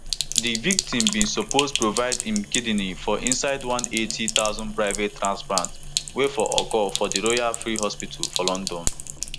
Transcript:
di victim bin suppose provide im kidney for inside one eighty thousand private transplant wey for occur for di royal free hospital for london